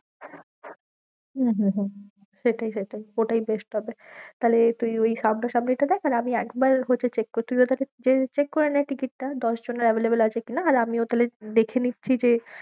হম হম হম সেটাই সেটাই ওটাই best হবে, তাহলে তুই ওই সামনা-সামনিটা দেখ, আর আমি একবার হচ্ছে check করি, তুই ওটাকে যেয়ে check করে নে ticket টা, দশ জনের available আছে কি না? আর আমিও তাহলে দেখে নিচ্ছি যে